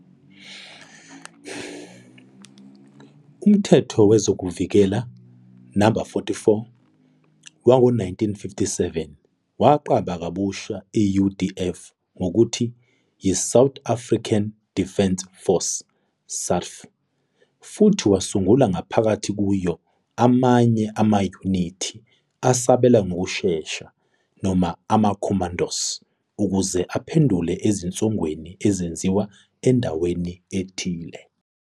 UMthetho Wezokuvikela, No. 44, wango-1957 waqamba kabusha i-UDF ngokuthi yiSouth African Defence Force, SADF, futhi wasungula ngaphakathi kuyo amanye amayunithi asabela ngokushesha, noma amaCommandos, ukuze aphendule ezinsongweni ezenziwa endaweni ethile.